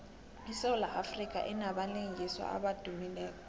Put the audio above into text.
isewula afrika inabalingiswa abadumileko